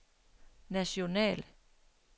national